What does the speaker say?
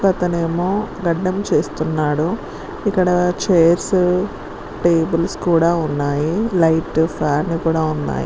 ఇక్కడ ఒక అతను గడ్డం చేస్తున్నాడు ఇక్కడ చైర్స్ టేబుల్స్ కూడా ఉన్నాయి లైట్ ఫ్యాన్ కూడా ఉన్నాయి